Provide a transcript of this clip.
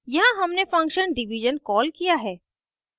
यहाँ हमने function division call किया है